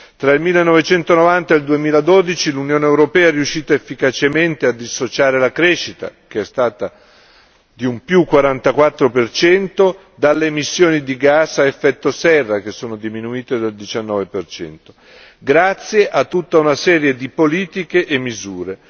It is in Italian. Tra il 1990 e il 2012 l'Unione europea è riuscita efficacemente a dissociare la crescita, che è stata di un più 44 per cento, dalle emissioni di gas a effetto serra, che sono diminuite del 19 per cento, grazie a tutta una serie di politiche e misure.